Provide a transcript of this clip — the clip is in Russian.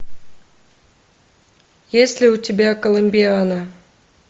есть ли у тебя коломбиана